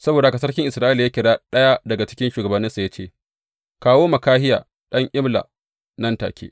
Saboda haka sarkin Isra’ila ya kira ɗaya daga cikin shugabanninsa ya ce, Kawo Mikahiya ɗan Imla nan take.